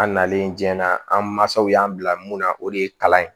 An nalen diɲɛ na an mansaw y'an bila mun na o de ye kalan ye